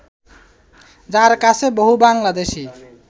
যাঁর কাছে বহু বাংলাদেশি